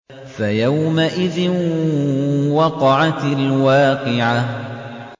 فَيَوْمَئِذٍ وَقَعَتِ الْوَاقِعَةُ